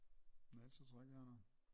Nej ellers så tror jeg ikke vi har noget